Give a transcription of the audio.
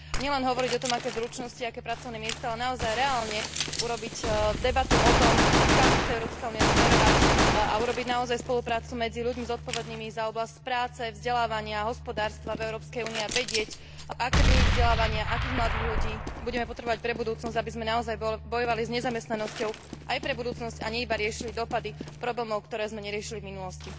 Nielen hovoriť o tom, aké zručnosti, aké pracovné miesta, ale naozaj reálne viesť debatu o tom, kam chce Európska únia smerovať, a vytvoriť naozaj spoluprácu medzi ľuďmi zodpovednými za oblasť práce, vzdelávania a hospodárstva v Európskej únii a vedieť, aké druhy vzdelávania, akých mladých ľudí budeme potrebovať pre budúcnosť, aby sme naozaj bojovali s nezamestnanosťou aj pre budúcnosť, a nie iba riešili dopady problémov, ktoré sme neriešili v minulosti.